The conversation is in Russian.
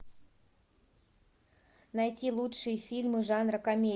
найти лучшие фильмы жанра комедия